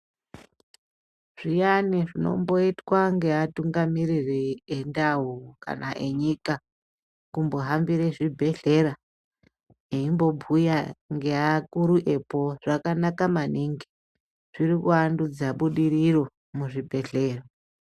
Zviyani zvinomboitwa ngeatungamiriri endau kana enyika kumbohambira zvibhedhlera eimbobhuya ngeakuru epo zvakanaka maningi zviri kuwandudza budiriro muzvibhedhlera.